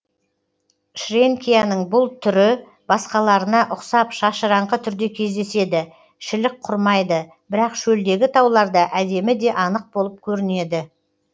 шренкияның бұл түрі басқаларына ұқсап шашыраңқы түрде кездеседі шілік құрмайды бірақ шөлдегі тауларда әдемі де анық болып көрінеді